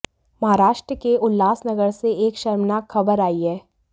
महाराष्ट्र के उल्हासनगर से एक शर्मनाक खबर आई हैं